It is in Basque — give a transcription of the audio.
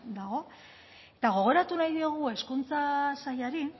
dago eta gogoratu nahi diogu hezkuntza sailari